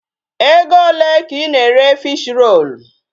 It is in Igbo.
Ego ole ka ị na-ere Fish-roll?